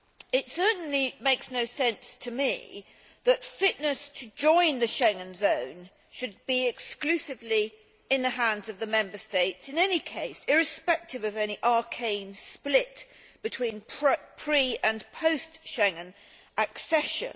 It certainly makes no sense to me that fitness to join the Schengen zone should lie exclusively in the hands of the Member States in any case, irrespective of any arcane split between pre and post Schengen accession.